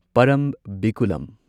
ꯄꯔꯝꯕꯤꯀꯨꯂꯝ